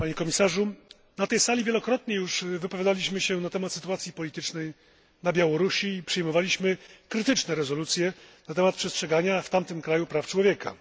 Panie Komisarzu! Na tej sali wielokrotnie już wypowiadaliśmy się na temat sytuacji politycznej na Białorusi i przyjmowaliśmy krytyczne rezolucje na temat przestrzegania w tym kraju praw człowieka.